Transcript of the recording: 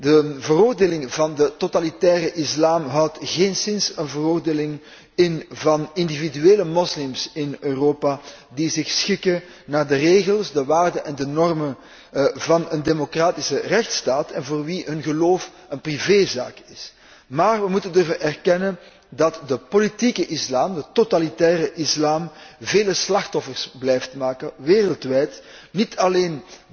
De veroordeling van de totalitaire islam houdt geenszins een veroordeling in van individuele moslims in Europa die zich schikken naar de regels, de waarden en de normen van een democratische rechtsstaat en voor wie een geloof een privézaak is. Maar we moeten durven erkennen dat de politieke islam, de totalitaire islam, vele slachtoffers blijft maken wereldwijd, niet alleen